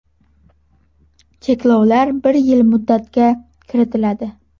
Cheklovlar bir yil muddatga kiritiladi.